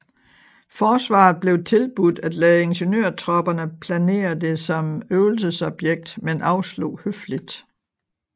Forsvaret blev tilbudt at lade ingeniørtropperne planere det som øvelsesobjekt men afslog høfligt